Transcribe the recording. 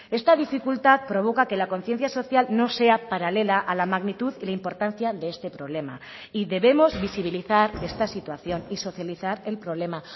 esta dificultad provoca que la conciencia social no sea paralela a la magnitud y la importancia de este problema y debemos visibilizar esta situación y socializar el problema